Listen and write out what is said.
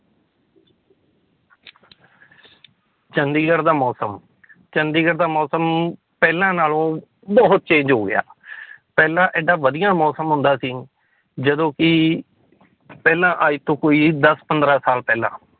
ਚੰਡੀਗੜ੍ਹ ਦਾ ਮੌਸਮ ਚੰਡੀਗੜ੍ਹ ਦਾ ਮੌਸਮ ਪਹਿਲਾਂ ਨਾਲੋਂ ਬਹੁਤ change ਹੋ ਗਿਆ ਪਹਿਲਾਂ ਏਡਾ ਵਧੀਆ ਮੌਸਮ ਹੁੰਦਾ ਸੀ, ਜਦੋਂ ਕਿ ਪਹਿਲਾਂ ਅੱਜ ਤੋਂ ਕੋਈ ਦਸ ਪੰਦਰਾਂ ਸਾਲ ਪਹਿਲਾਂ